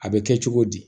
A bɛ kɛ cogo di